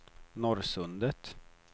Norrsundet